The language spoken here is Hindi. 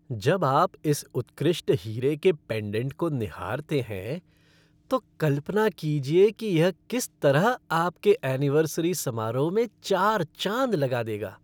जब आप इस उत्कृष्ट हीरे के पेंडेंट को निहारते हैं, तो कल्पना कीजिए कि यह किस तरह आपके ऐनिवर्सरी समारोह में चार चाँद लगा देगा।